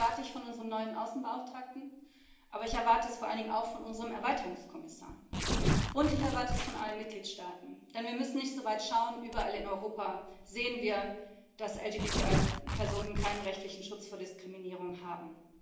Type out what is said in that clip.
Das erwarte ich von unserem neuen Außenbeauftragten, aber ich erwarte es vor allen Dingen auch von unserem Erweiterungskommissar. Und ich erwarte es von allen Mitgliedstaaten, denn wir müssen nicht so weit schauen. Überall in Europa sehen wir, dass LGBTI Personen keinen rechtlichen Schutz vor Diskriminierung haben.